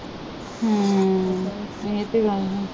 ਇਹ ਤੇ ਗੱਲ ਹੈ।